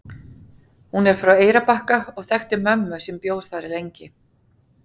Hún er frá Eyrarbakka og þekkti mömmu sem bjó þar lengi.